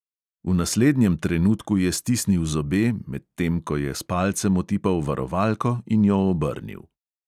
V naslednjem trenutku je stisnil zobe, medtem ko je s palcem otipal varovalko in jo obrnil.